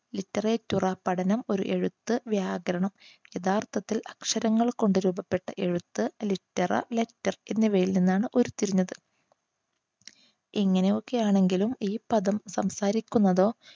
liturgy പഠനം ഒരെഴുത്ത് വ്യാകരണം യഥാർത്ഥത്തിൽ അക്ഷരങ്ങൾ കൊണ്ട് രൂപപ്പെട്ട എഴുത്ത്, littara, letter എന്നിവയിൽ നിന്നാണ് ഉരിതിരിഞ്ഞത്. ഇങ്ങനെയൊക്കെയാണെങ്കിലും ഈ പദം സംസാരിക്കുന്നത്